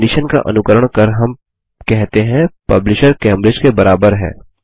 एक कंडिशन का अनुकरण कर हम कहते हैं पब्लिशर कैम्ब्रिज के बराबर है